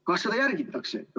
Kas seda järgitakse?